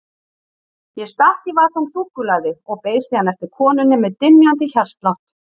Ég stakk í vasann súkkulaði og beið síðan eftir konunni með dynjandi hjartslátt.